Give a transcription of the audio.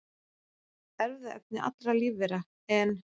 Erfðaefni allra lífvera, en